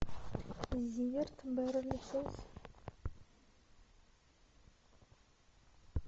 зиверт беверли хиллз